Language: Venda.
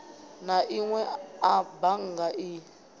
na inwe a bannga i